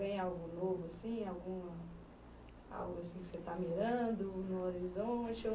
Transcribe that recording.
que vem algo novo assim, algo assim que você tá mirando no horizonte ou